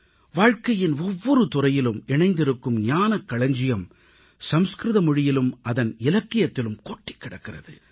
வாழ்க்கையின் ஒவ்வொரு துறையிலும் இணைந்திருக்கும் ஞானக் களஞ்சியம் சமஸ்கிருத மொழியிலும் அதன் இலக்கியத்திலும் கொட்டிக் கிடக்கிறது